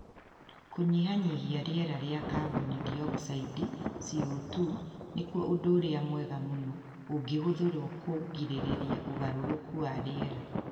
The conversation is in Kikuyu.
Kũnyihanyihia rĩera rĩa kaboni diokicidi (CO2) nĩkuo ũndũ ũrĩa mwega mũno ũngĩhũthĩrũo kũgirĩrĩria ũgarũrũku wa rĩera.